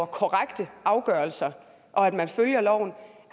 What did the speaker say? korrekt afgørelse og at man følger loven